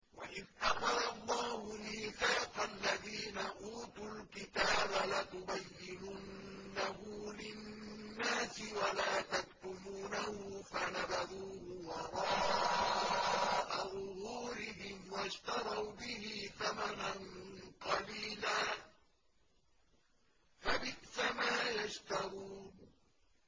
وَإِذْ أَخَذَ اللَّهُ مِيثَاقَ الَّذِينَ أُوتُوا الْكِتَابَ لَتُبَيِّنُنَّهُ لِلنَّاسِ وَلَا تَكْتُمُونَهُ فَنَبَذُوهُ وَرَاءَ ظُهُورِهِمْ وَاشْتَرَوْا بِهِ ثَمَنًا قَلِيلًا ۖ فَبِئْسَ مَا يَشْتَرُونَ